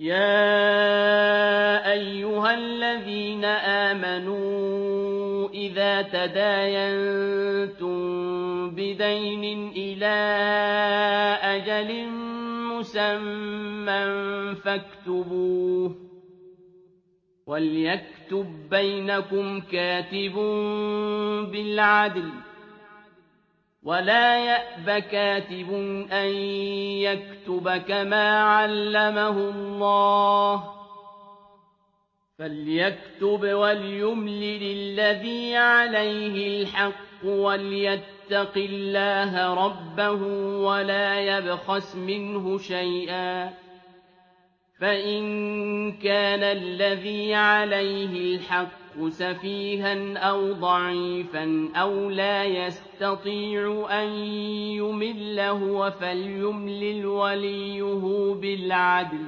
يَا أَيُّهَا الَّذِينَ آمَنُوا إِذَا تَدَايَنتُم بِدَيْنٍ إِلَىٰ أَجَلٍ مُّسَمًّى فَاكْتُبُوهُ ۚ وَلْيَكْتُب بَّيْنَكُمْ كَاتِبٌ بِالْعَدْلِ ۚ وَلَا يَأْبَ كَاتِبٌ أَن يَكْتُبَ كَمَا عَلَّمَهُ اللَّهُ ۚ فَلْيَكْتُبْ وَلْيُمْلِلِ الَّذِي عَلَيْهِ الْحَقُّ وَلْيَتَّقِ اللَّهَ رَبَّهُ وَلَا يَبْخَسْ مِنْهُ شَيْئًا ۚ فَإِن كَانَ الَّذِي عَلَيْهِ الْحَقُّ سَفِيهًا أَوْ ضَعِيفًا أَوْ لَا يَسْتَطِيعُ أَن يُمِلَّ هُوَ فَلْيُمْلِلْ وَلِيُّهُ بِالْعَدْلِ ۚ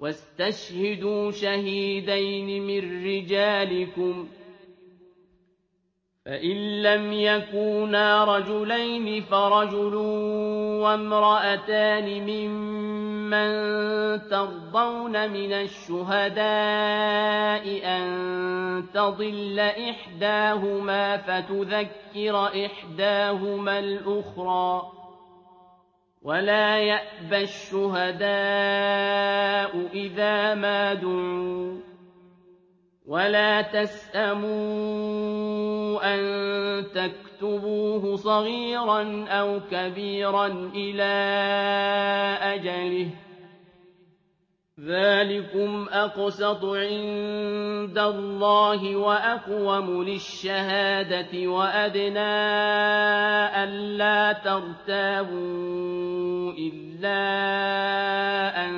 وَاسْتَشْهِدُوا شَهِيدَيْنِ مِن رِّجَالِكُمْ ۖ فَإِن لَّمْ يَكُونَا رَجُلَيْنِ فَرَجُلٌ وَامْرَأَتَانِ مِمَّن تَرْضَوْنَ مِنَ الشُّهَدَاءِ أَن تَضِلَّ إِحْدَاهُمَا فَتُذَكِّرَ إِحْدَاهُمَا الْأُخْرَىٰ ۚ وَلَا يَأْبَ الشُّهَدَاءُ إِذَا مَا دُعُوا ۚ وَلَا تَسْأَمُوا أَن تَكْتُبُوهُ صَغِيرًا أَوْ كَبِيرًا إِلَىٰ أَجَلِهِ ۚ ذَٰلِكُمْ أَقْسَطُ عِندَ اللَّهِ وَأَقْوَمُ لِلشَّهَادَةِ وَأَدْنَىٰ أَلَّا تَرْتَابُوا ۖ إِلَّا أَن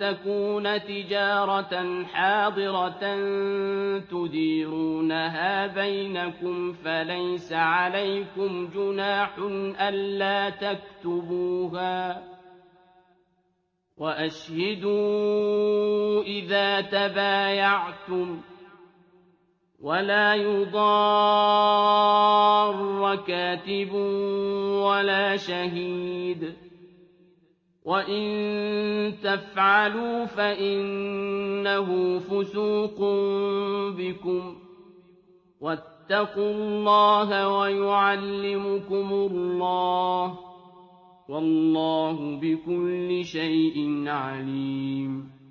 تَكُونَ تِجَارَةً حَاضِرَةً تُدِيرُونَهَا بَيْنَكُمْ فَلَيْسَ عَلَيْكُمْ جُنَاحٌ أَلَّا تَكْتُبُوهَا ۗ وَأَشْهِدُوا إِذَا تَبَايَعْتُمْ ۚ وَلَا يُضَارَّ كَاتِبٌ وَلَا شَهِيدٌ ۚ وَإِن تَفْعَلُوا فَإِنَّهُ فُسُوقٌ بِكُمْ ۗ وَاتَّقُوا اللَّهَ ۖ وَيُعَلِّمُكُمُ اللَّهُ ۗ وَاللَّهُ بِكُلِّ شَيْءٍ عَلِيمٌ